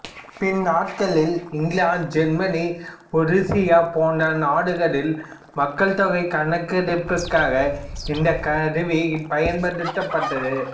பின்நாட்களில் England Germany உருசியா போன்ற நாடுகளிலும் மக்கள்தொகை கணக்கெடுப்பிற்காக இந்த கருவி பயன்படுத்தப்பட்டது